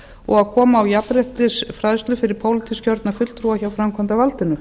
og að koma á jafnréttisfræðslu fyrir pólitískt kjörna fulltrúa hjá framkvæmdarvaldinu